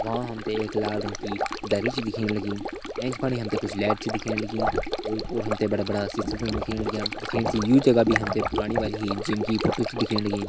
वहाँ हमते एक लाल रंग की दरी च दिखेण लगी एैंच फणी हमथे कुछ लैट च दिखेण लगी ओर-पोर हमते बड़ा-बड़ा सीशा सन दिखेण लग्या दिखेण सी यू जगा बी हमथे पुराणी वाली ही जिम की फोटू च दिखेण लगी।